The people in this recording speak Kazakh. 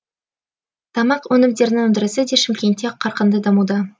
тамақ өнімдерінің өндірісі де шымкентте қарқынды дамуда